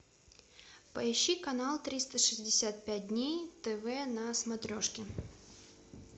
поищи канал триста шестьдесят пять дней тв на смотрешке